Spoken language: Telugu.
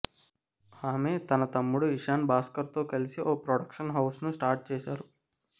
ఆమె తన తమ్ముడు ఇషాన్ భాస్కర్తో కలిసి ఓ ప్రొడక్షన్ హౌస్ను స్టార్ట్ చేశారు